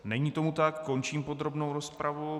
Není tomu tak, končím podrobnou rozpravu.